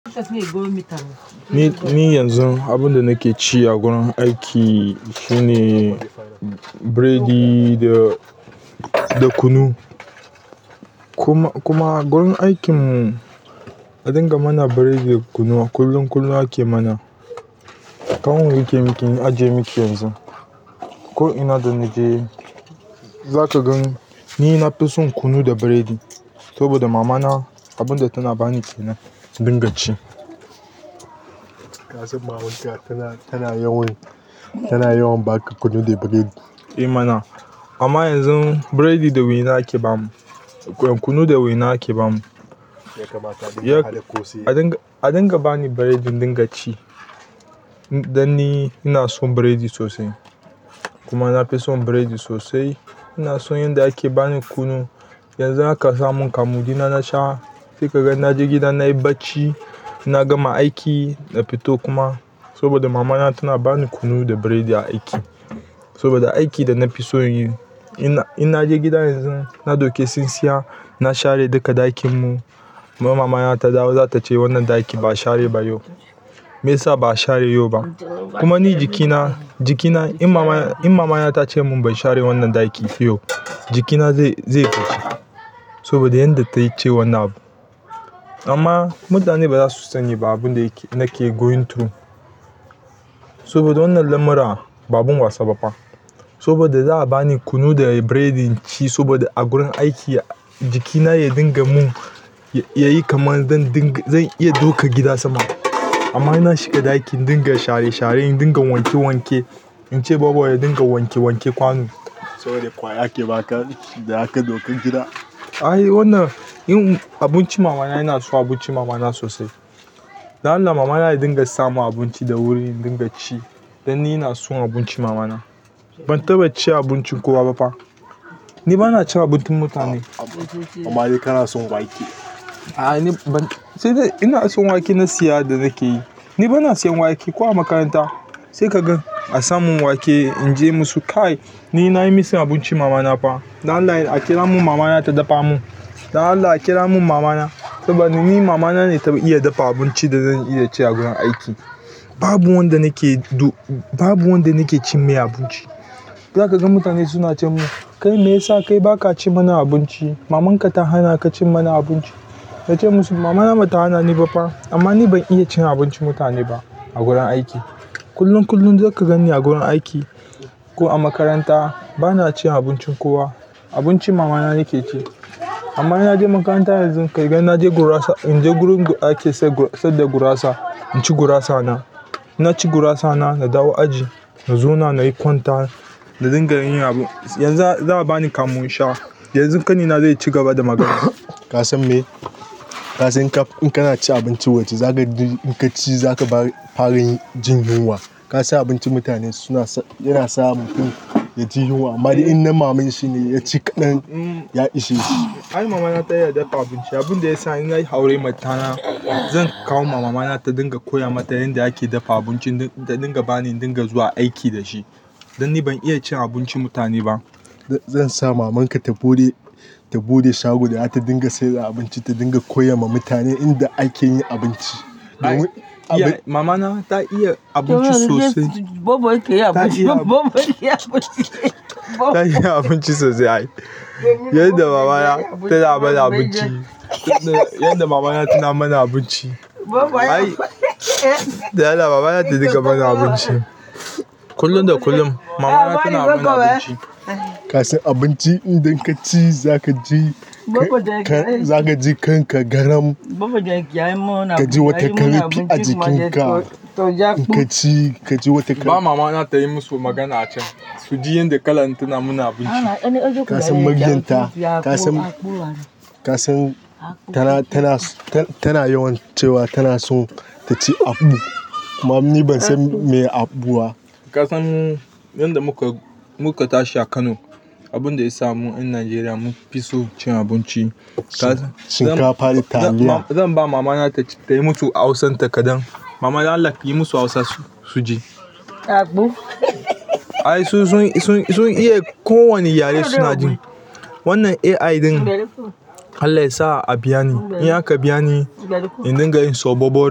Ni yanzun abin da nake ci a gurin aiki shine bread da kunu. Kuma gurin aikin a dinga mana bread da kunu kullum-kullum ake mana. Kawo in riƙe miki, in ajiye miki yanzu. Ko ina da naje, zaka gan ni nafi son kunu da bread saboda mamana abin da tana bani kenan in dinga ci. Kasan mama ƙila tana yawan baka kunu da bread. Eh mana. Amma yanzu bread da waina ake bamu, kunu da waina ake bamu a dinga bani bread in dinga ci, don ni ina son bread sosai kuma nafi son bread sosai. Ina son yanda ake bani kunu. Yanzu haka samun kamun ɗina nasha, sai kaga naje gida nayi bacci. Na gama aiki, na fito kuma saboda mamana tana bani kunu da bread a aiki. Saboda aiki da nafi son yi. In naje gida yanzun, na ɗauki tsintsiya, na share duka ɗakin mu, mamana ta dawo zata ce wannan ɗakin ba l'a share ba yau. Me yasa ba'a share yau ba? Kuma ni jikina jikina, in mamana tace mun ban share wannan ɗakin ba yau, jikina zai yi kuka saboda yanda tace wannan abu. Amma mutane bazasu sani ba abin da nake going through. Saboda wannan lamuran ba abun wasa ba fa. Saboda za'a bani kunu da bread in ci saboda a gurin aiki jikina ya dinga mun yayi kamar zan iya ɗaukan gida sama. Amma ina shiga ɗaki in dinga share-share, in dinga wanke-wanke, in ce bobobya dinga wanke-wanke kwano. Saboda ƙwaya ake baka da zaka ɗauka gida. Ai wannan, abincin mamana, ina so abincin mama na sosai. Dan Allah mamana ya dinga samun abinci da wuri in dinga ci. Dan ni ina son abinci mama na. Ban taɓa cin abincin kowa ba fa. Ni bana cin abincin mutane. Amma dai kana son wake. A'a ni ban. Sai dai ina son wake na siya da nake yi. Ni bana siyan wake ko a makaranta. Sai ka gan a sa mun wake, in ce musu "Kai, ni nayi missing abincin mamana fa. Dan Allah a kira mun mamana ta dafa mun. Dan Allah a kira mun mamana saboda ni mamana ne ta iya dafa abincin da zan iya ci a gurin aiki". Babu wanda nake ci mai abinci. Zakaga mutane suna ce mun. Kai meyasa kai baka ci mana abinci mamanka ta hanaka ci mana abinci na ce musu, "Mamana bata hanani ba fa, amma ni ban iya cin abincin mutane ba a gurin aiki". Kullum-kullum je ka ganni a gurin aiki ko a makaranta bana cin abincin kowa. Abincin mamana nake ci. Amma in naje makaranta yanzu, kai gan naje gurasa, in je gurin da ake saida gurasa, in naci gurasana. In naci gurasana, na dawo aji, na zauna nayi kwanta da dinga yin abu. Yanzu za a bani kamu in sha. Yanzu ƙanina zai cigaba da magana. Ka san me? Kasan in kana cin abinci waje, zaka ga in kaci zaka fara jin yunwa. Kasan abincin mutane suna, yana sa mutum yaji yunwa. Amma in na maman shi ne ya ci kaɗan, ya ishe shi. Ai mama na ta iya dafa abinci. Abin da yasa in nayi aura matana, zan kawo ma mamana ta dinga koya mata yanda ake dafa abincin da ta dinga bani in dinga zuwa aiki da shi. Dan ni ban iya cin abincin mutane ba. Zan sa mamanka ta buɗe shago da zata dinga saida abinci, ta dinga koyama mutane yanda ake yin abinci. Ta iya abinci sosai ai, yanda mamana abinci. Tana mana abinci. Yanda mamana tana mana abinci. Ai, dan Allah mamana ta dinga mana abinci. Kullum da kullum mamana tana mana abinci. Ka san abinci idan kaci zakaji kanka garam kaji wata ƙarfi a jikinka in kaci, ka ji wata kar, ba mamana ta yi musu magana a can. Suji yanda kalan tana mana abinci. Ka san muryar ta? Ka san tana yawan cewa tana son taci akpu. Kuma ni ban san meye akpu ba. Kasan yanda muka tashi a Kano, abinda yasa mu ƴan Nigeria mun fi son cin abinci. Shinkafa da taliya. Zan ba mamana tayi musu Hausanta kaɗan. Mama dan Allah kiyi musu Hausa suji. Ai sun san sun iya ko wane yare suna ji wannan AI ɗin Allah yasa a biyani, in aka in dinga yin sobobor.